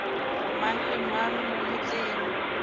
mang le mang mo motseng